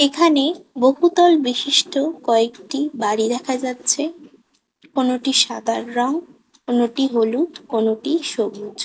এখানে বহুতল বিশিষ্ট কয়েকটি বাড়ি দেখা যাচ্ছে কোনটি সাঁদার রং কোনটি হলুদ কোনটি সবুজ।